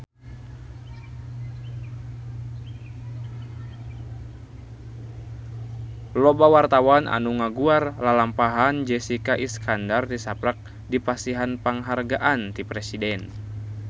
Loba wartawan anu ngaguar lalampahan Jessica Iskandar tisaprak dipasihan panghargaan ti Presiden